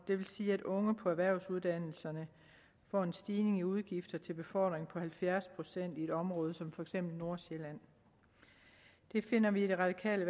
vil sige at unge på erhvervsuddannelserne får en stigning i udgifter til befordring på halvfjerds procent i et område som for eksempel nordsjælland det finder vi i det radikale